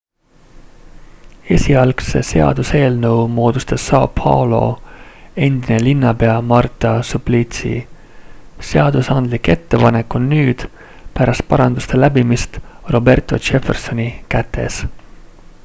esialgse seaduseelnõu moodustas são paulo endine linnapea marta suplicy. seadusandlik ettepanek on nüüd pärast paranduste läbimist roberto jeffersoni kätes